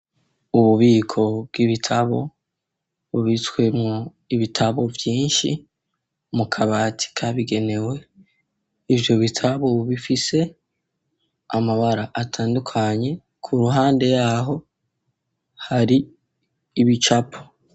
Ububiko bw'ibitabo bubitswemo ibitabo vyinshi, mu kabati kabigenewe? ivyo bitabo bifise amabara atandukanye, ku ruhande y'aho hari ibicapo.